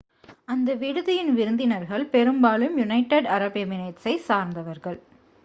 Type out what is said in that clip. அந்த விடுதியின் விருந்தினர்கள் பெரும்பாலும் யுனைடெட் அரப் எமிரேட்ஸை சார்ந்தவர்கள்